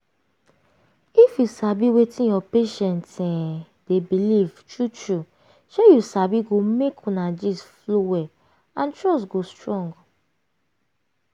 if you sabi wetin your patient um dey believe true true shey you sabi go make una gist flow well and trust go strong.